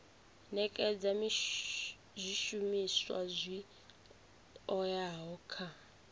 nekedza zwishumiswa zwi oeaho kha